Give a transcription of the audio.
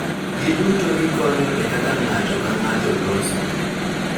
Giduto gikonyo e kaka ng�ato ka ng�ato loso